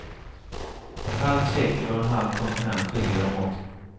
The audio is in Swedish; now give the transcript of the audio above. Ett halvt sekel och en halv kontinent skiljer dem åt.